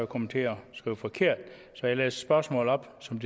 kommet til at skrive forkert så jeg læser spørgsmålet op som